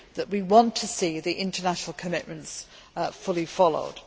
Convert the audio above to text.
that we want to see the international commitments fully followed.